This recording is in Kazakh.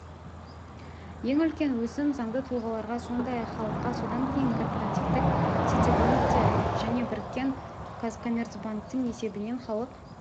ең үлкен өсім заңды тұлғаларға сондай-ақ халыққа содан кейін корпоративтік ситибанкте және біріккен казкоммерцбанктің есебінен халық